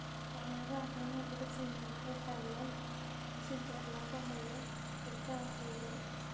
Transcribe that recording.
Waxyaabaha caanaha laga sameeyo waxay caawiyaan dhisidda lafaha iyo ilkaha xooggan.